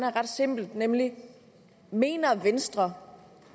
er ret simpelt nemlig mener venstre